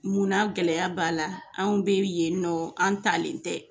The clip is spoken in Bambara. Munna gɛlɛya b'a la an bɛ yen nɔ an talen tɛ.